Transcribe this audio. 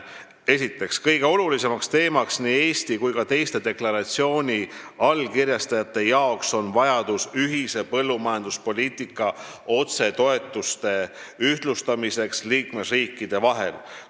Esiteks, kõige olulisem teema nii Eesti kui ka teiste deklaratsiooni allkirjastajate jaoks on vajadus ühise põllumajanduspoliitika otsetoetusi liikmesriikide vahel ühtlustada.